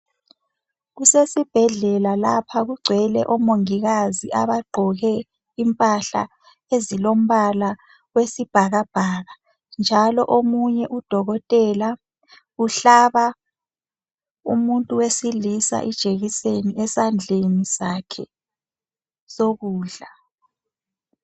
Kusesibhendlela lapha kugcwele omongakazi abagqoke impahla ezelombala wesibhakabhaka njalo omunye udokotela uhlaba umuntu wesilisa ijekiseni esandleni sakhe sokudla.